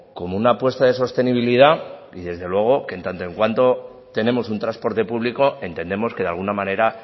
como una apuesta de sostenibilidad y desde luego que en tanto en cuanto tenemos un transporte público entendemos que de alguna manera